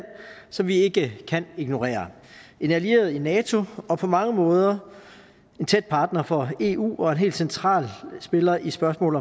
som vi ikke kan ignorere en allieret i nato og på mange måder en tæt partner for eu og en helt central spiller i spørgsmål